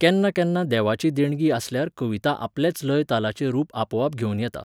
केन्ना केन्ना देवाची देणगी आसल्यार कविता आपलेच लय तालाचें रूप आपोआप घेवन येता